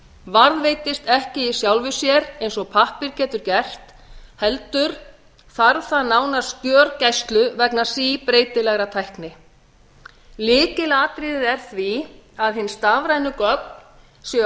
varðveitist ekki af sjálfu sér eins og pappír getur gert heldur þarf það nánast gjörgæslu vegna síbreytilegrar tækni lykilatriðið er því að hin stafrænu gögn séu ætíð